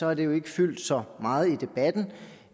har det jo ikke fyldt så meget i debatten